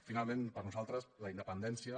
finalment per a nosaltres la independència